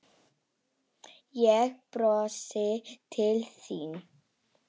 Ég brosi til þín.